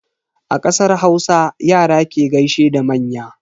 A kasar Hausa, Yara ke gaishe da manya.